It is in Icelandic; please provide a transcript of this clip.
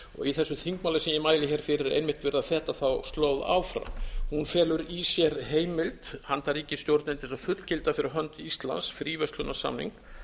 í þessu þingmáli sem ég mæli hér fyrir er einmitt verið að feta þá slóð áfram hún felur í sér heimild handa ríkisstjórninni til þess að fullgilda fyrir hönd íslands fríverslunarsamning